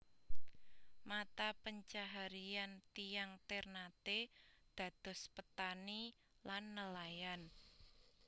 Mata pencaharian tiyang Ternate dados petani lan nelayan